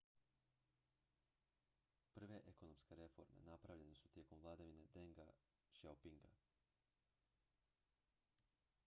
prve ekonomske reforme napravljene su tijekom vladavine denga xiaopinga